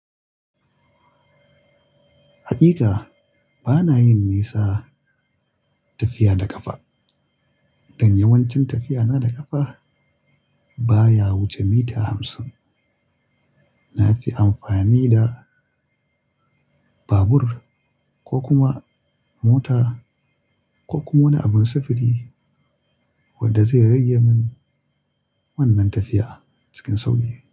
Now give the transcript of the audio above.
Hakika bana yin nisa tafiya da kafa. Don yawancin tafiya na da kafa baya wuce mita hamsin. Na fi amfani da babur ko kuma mota ko kuma wani abun sufuri wanda zai rage min wannan tafiya cikin sauƙi.